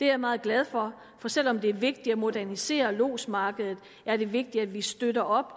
jeg meget glad for for selv om det er vigtigt at modernisere lodsmarkedet er det vigtigt at vi støtter